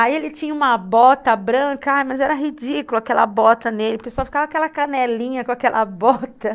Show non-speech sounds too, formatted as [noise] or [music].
Aí ele tinha uma bota branca, ah, mas era ridículo aquela bota nele, porque só ficava aquela [laughs] canelinha com aquela bota [laughs]